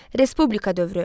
Respublika dövrü.